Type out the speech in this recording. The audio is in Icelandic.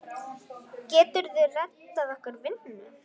Geturðu reddað okkur vinnu?